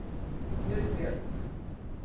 Guðbjörg